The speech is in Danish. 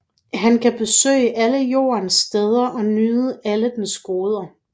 Han kan besøge alle jordens steder og nyde alle dens goder